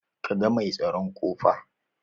Ka ga mai tsaron a ƙofa?